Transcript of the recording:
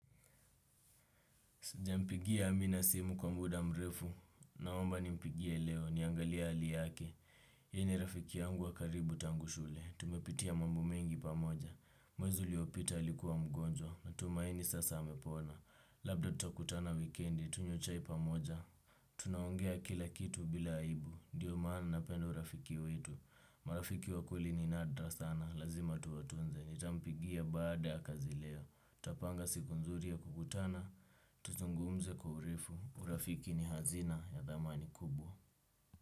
Sijampigia amina simu kwa muda mrefu. Naomba nimpigie leo. Niangalie hali yake. Yeye ni rafiki yangu wa karibu tangu shule. Tumepitia mambo mengi pamoja. Mwezi uliopita alikuwa mgonjwa. Natumaini sasa amepona. Labda tutakutana wikendi. Tunywe chai pamoja. Tunaongea kila kitu bila aibu. Ndio maana napenda urafiki wetu. Marafiki wa kweli ni nadra sana. Lazima tuwatunze. Nitampigia baada ya kazi leo. Tutapanga siku nzuri ya kukutana. Tuzungumze kwa urefu. Urafiki ni hazina ya dhamani kubwa.